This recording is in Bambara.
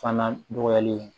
Fana nɔgɔyalen